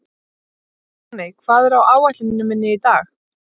Máney, hvað er á áætluninni minni í dag?